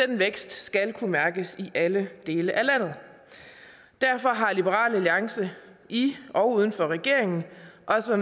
den vækst skal kunne mærkes i alle dele af landet derfor har liberal alliance i og uden for regeringen også